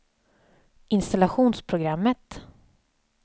installationsprogrammet